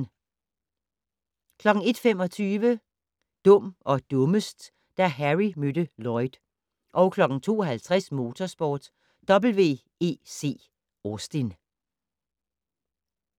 01:25: Dum og dummest: Da Harry mødte Lloyd 02:50: Motorsport: WEC Austin